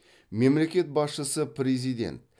мемлекет басшысы президент